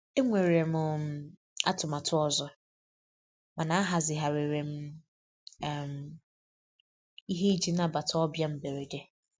E nwere um m atụmatụ ọzọ, mana ahazigharịrị um m ihe iji nabata ọbịa mberede.